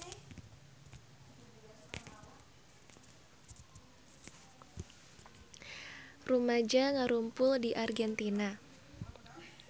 Rumaja ngarumpul di Argentina